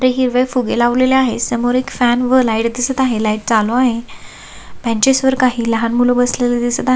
ते हिरवे फुगे लावलेले आहे समोर एक फॅन व लाइट दिसत आहे लाइट चालू आहे बेंचीस वर काही लहान मुल बसलेली दिसत आहेत.